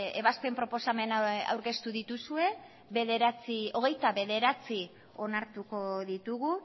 ebazpen proposamen aurkeztu dituzue hogeita bederatzi onartuko ditugu